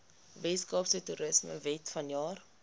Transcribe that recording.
weskaapse toerismewet vanjaar